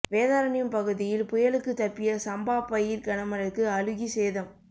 வேதாரண்யம் பகுதியில் புயலுக்கு தப்பிய சம்பா பயிர் கனமழைக்கு அழுகி சேதம்